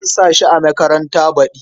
Zan sa shi a makaranta baɗi.